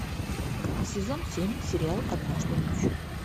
сезон семь сериал однажды ночью